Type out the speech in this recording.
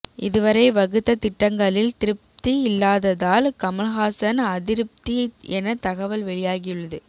இதுவரை வகுத்த திட்டங்களில் திருப்தி இல்லாததால் கமல்ஹாசன் அதிருப்தி என தகவல் வெளியாகியுள்ளது